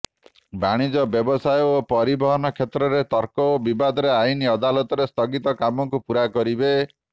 ବାଣିଜ୍ୟ ବ୍ୟବସାୟ ଓ ପରିବହନ କ୍ଷେତ୍ରରେ ତର୍କ ଓ ବିବାଦରେ ଆଇନ ଅଦାଲତରେ ସ୍ଥଗିତ କାମକୁ ପୂରା କରିବେ